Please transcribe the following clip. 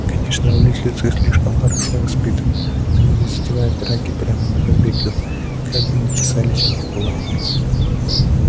конечно близнецы слишком хорошо воспитаны они не затевают драки прямо на барбекю как бы ни чесались у них кулаки